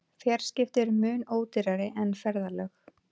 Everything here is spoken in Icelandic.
Fjarskipti eru mun ódýrari en ferðalög.